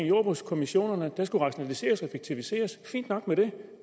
jordbrugskommissionerne der skulle rationaliseres og effektiviseres fint nok med det